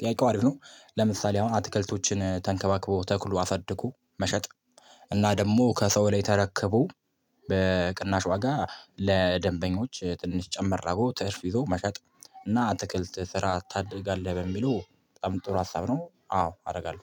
ጥያቄው አሪፍ ነው ለምሳሌ አሁን አትክልቶችን ተንከባክቦ ተክሎ አሳድጎ መሸጥ እና ደግሞ ከሰው ላይ ተረክቦ በቅናሽ ዋጋ ለደንበኞች ትንሽ ጨመር አድርጎ ትርፍ ይዞ መሸጥ እና አትክልት ስራ ታደርጋለህ በሚሉ በጣም ጥሩ ሀሳብ ነው አዎ አደርጋለሁ